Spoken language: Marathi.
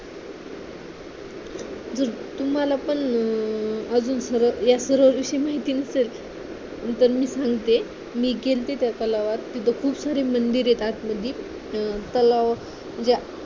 तुम्हाला पण अजून सर्व या सर्व विषयी माहिती नसेल तरीही मी सांगते मी गेलते त्या तलावात तिथे खूप सारे मंदिर येतात मधी तलाव म्हणजे